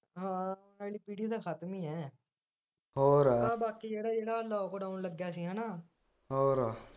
ਹਾਂ ਤਾ ਖ਼ਤਮ ਈ ਆ ਬਾਕੀ ਜਿਹੜਾ ਜਿਹੜਾ lockdown ਲੱਗਿਆ ਸੀਗਾ ਨਾ